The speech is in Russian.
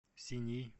синьи